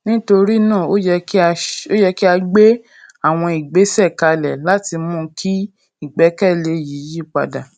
nítorí náà ó yẹ kí a gbé àwọn ìgbésè kalẹ láti mú kí ìgbékèlé yìí padà